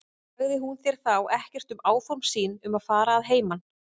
Sagði hún þér þá ekkert um áform sín um að fara að heiman?